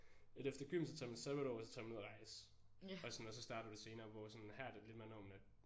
At efter gym så tager man sabbatår og så tager man ud og rejse og sådan og så starter du senere hvor sådan her er det lidt mere normen at